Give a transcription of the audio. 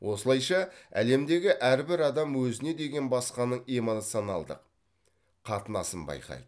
осылайша әлемдегі әрбір адам өзіне деген басқаның эмоционалдық қатынасын байқайды